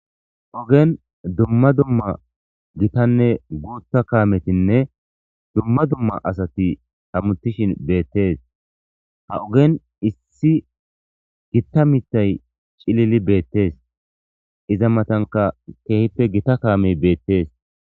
ogen dumma dumma gitanne guuta kaametinne dumma dumma asati tamutishin beettees ha ogen issi gitta mithay cilili beettees iza matanka keehippe gita kaamey beettees